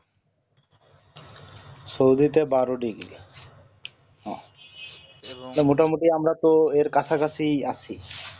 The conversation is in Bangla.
সৌদিতে বার degree এবং মোটামোটি আমরা তো এর কাছাকাছি ই আছি